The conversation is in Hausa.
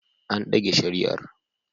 An dage shari'ar